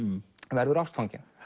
verður ástfanginn